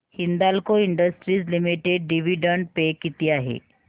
Hindalco industries limited dividend pay किती आहे